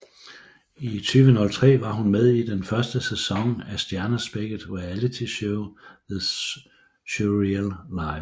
I 2003 var hun med i den første sæson af stjernespækket realityshow The Surreal Life